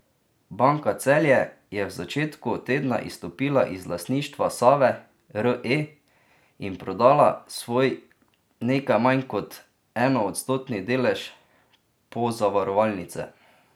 Banka Celje je v začetku tedna izstopila iz lastništva Save Re in prodala svoj nekaj manj kot enoodstotni delež pozavarovalnice.